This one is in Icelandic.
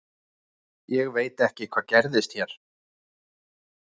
Ég veit ekki hvað gerðist hér.